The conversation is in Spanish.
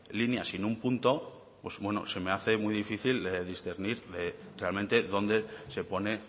líneas sin ningún punto pues bueno se me hace muy difícil discernir realmente dónde se pone